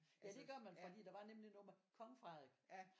Ja det gør man fordi der var nemlig noget med Kong Frederik